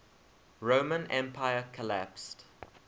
roman empire collapsed